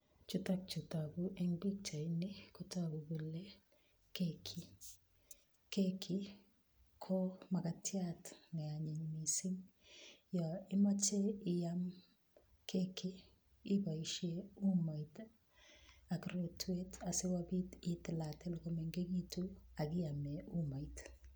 Chutokchu togu eng pichaini ko keki. Keki ko makatiat neanyiny mising. Yo imache iam keki iboishe umoit ak rotwet asikobit itiatil komengegitu akiame umoit.